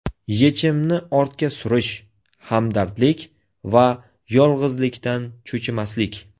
Yechimni ortga surish, hamdardlik va yolg‘izlikdan cho‘chimaslik.